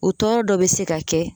O tɔɔrɔ dɔ bɛ se ka kɛ